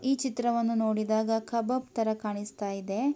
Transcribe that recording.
ಈ ಚಿತ್ರವನ್ನು ನೋಡಿದಾಗ ಕಬಾಬ್ ತರ ಕಾಣಿಸ್ತಾ ಇದೆ.